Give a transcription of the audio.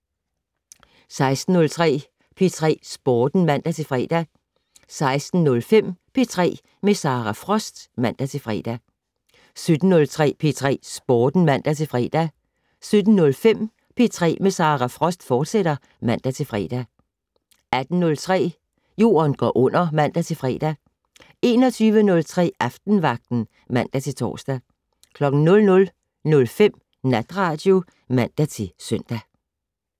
16:03: P3 Sporten (man-fre) 16:05: P3 med Sara Frost (man-fre) 17:03: P3 Sporten (man-fre) 17:05: P3 med Sara Frost, fortsat (man-fre) 18:03: Jorden går under (man-fre) 21:03: Aftenvagten (man-tor) 00:05: Natradio (man-søn)